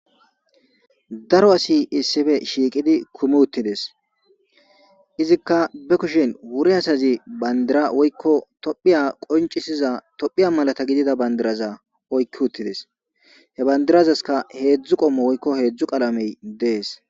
daro asi issife shiiqidi kumi uttides izikka be kushin wure asazi bandira woykko tophiya qoncisiza tophiya malata gidida bandiraza oykki uttides he bandirazaska heedzdzu qommo woykko heedzdzu qalamey dees